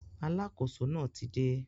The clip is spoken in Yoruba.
Alákóso náà ti dé